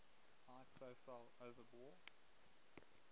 high profile overbore